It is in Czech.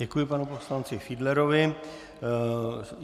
Děkuji panu poslanci Fiedlerovi.